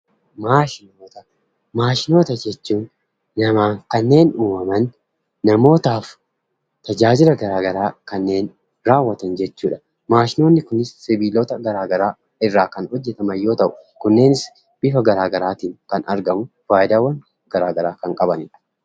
Maashinoota jechuun namaan kanneen uumaman, namaaf tajaaja gara garaa kanneen raawwatan jechuudha. Maashinoonni kunis sibiilota gara garaa irraa kan hojjetaman yemmuu ta'u, kunnenis bifa gara garaatiin kan argaman, faayidaawwan gara garaa kan qabanidha.